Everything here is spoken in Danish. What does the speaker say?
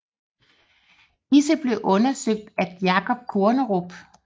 Disse blev undersøgt af Jacob Kornerup